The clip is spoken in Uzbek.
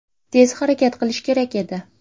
Tez harakat qilish kerak edi.